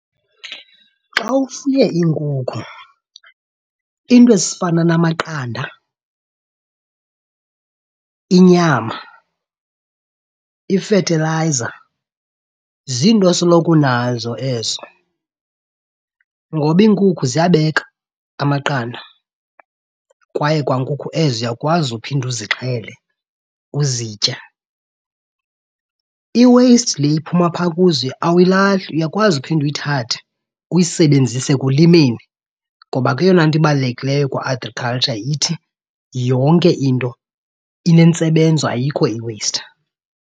Xa ufuye iinkukhu iinto ezifana namaqanda, inyama, ifethelayiza, ziinto osoloko unazo ezo. Ngoba iinkukhu ziyabeka amaqanda kwaye kwa nkukhu ezo uyakwazi uphinde uzixhele uzitye. I-waste le iphuma phaa kuzo awuyilahli, uyakwazi uphinde uyithathe uyisebenzise ekulimeni. Ngoba ke eyona nto ibalulekileyo kwa-agriculture ithi yonke into inentsebenzo, ayikho i-waste.